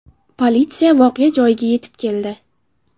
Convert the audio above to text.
Politsiya voqea joyiga yetib keldi.